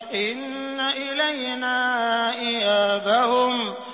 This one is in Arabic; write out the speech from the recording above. إِنَّ إِلَيْنَا إِيَابَهُمْ